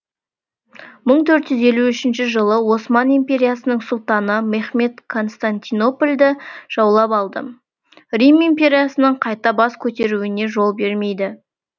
мың төрт жүз елу үшінші жылы осман империясының сұлтаны мехмед константинополді жаулап алды рим империясының қайта бас көтеруіне жол бермейді